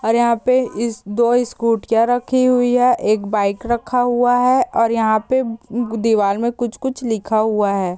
और यहाँ पे इस दो स्कूटिया रखी हुई है एक बाइक रखा हुआ है और यहाँ पे दिवार में कुछ -कुछ लिखा हुआ है।